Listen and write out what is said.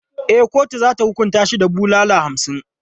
E, kotu za ta hukunta shi da bulala hamsin.